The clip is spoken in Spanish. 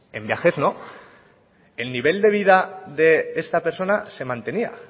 en viajes no el nivel de vida de esta persona se mantenía